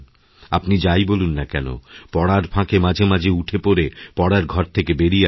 আপনিযাই বলুন না কেন পড়ার ফাঁকে মাঝে মাঝে উঠে পরে পড়ার ঘর থেকে বেরিয়ে আসুন